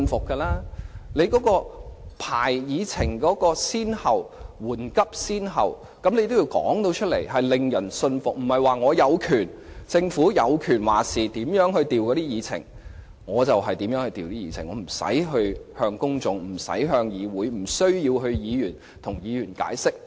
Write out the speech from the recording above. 政府須說明編排議程緩急先後次序的理據，才會令人信服，而不是政府說了算，可任意改動議程，而不必向公眾、議會、議員解釋。